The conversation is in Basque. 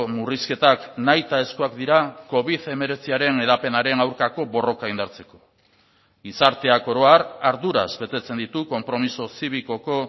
murrizketak nahitaezkoak dira covid hemeretziaren hedapenaren aurkako borroka indartzeko gizarteak oro har arduraz betetzen ditu konpromiso zibikoko